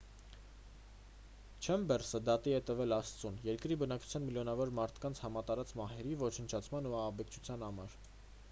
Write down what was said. չեմբերսը դատի է տվել աստծուն երկրի բնակչության միլիոնավոր մարդկանց համատարած մահերի ոչնչացման ու ահաբեկչության համար